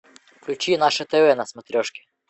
включи наше тв на смотрешке